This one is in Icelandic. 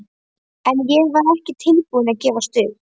En ég var ekki tilbúin að gefast upp.